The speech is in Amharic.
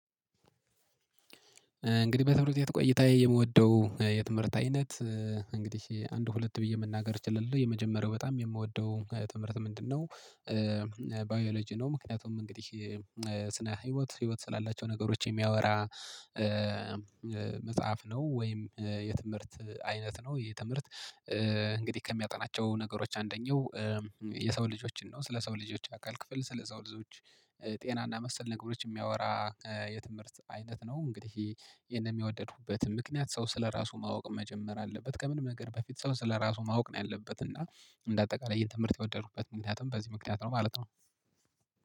እንግዲህ በትምህርት ቤት ቆይታዬ የምወደው የትምህርት አይነት እንግዲህ አንድ ሁለት ብዬ መናገር እችላለሁ የመጀመሪያው በጣም የምወደው ትምህርት ምንድነው? ባዮሎጂ ነው ምክንያቱም እንግዲህ ስነ ህይወት ህይወት ስላላቸው ነገሮች የሚያወራ መጽሐፍ ነው ወይም የትምህርት አይነት ነው ይህ ትምህርት። እንግዲህ ከሚያጠናቸው ነገሮች አንደኛው የሰው ልጆችን ነው ስለ ሰው ልጆች አካል ክፍል ስለ ሰው ልጆች ጤናና መሰል ነገሮች የሚያወራ የትምህርት አይነት ነው። እንግዲህ ይሄንን የወደድኩበት ምክንያት ሰው ስለራሱ ማወቅ መጀመር አለበት ከምንም ነገር በፊት ሰው ስለራሱ ማወቅ ነው። ያለበት እና እንደ አጠቃላይ ይህን ትምህርት የወደድኩበት ምክንያቱም በዚህ ምክንያት ነው ማለት ነው